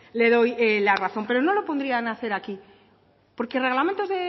le doy la razón pero no lo podrían hacer aquí porque reglamentos